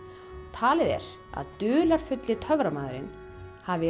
talið er að dularfulli töframaðurinn hafi